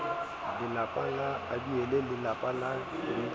lelapa la abiele lelapa le